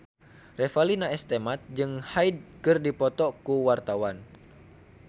Revalina S. Temat jeung Hyde keur dipoto ku wartawan